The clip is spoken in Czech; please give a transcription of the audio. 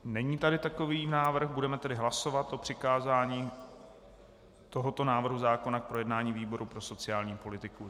Není tady takový návrh, budeme tedy hlasovat o přikázání tohoto návrhu zákona k projednání výboru pro sociální politiku.